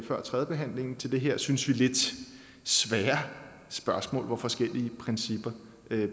før tredjebehandlingen til det her synes vi lidt svære spørgsmål hvor forskellige principper